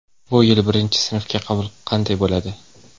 Bu yil birinchi sinfga qabul qanday bo‘ladi?.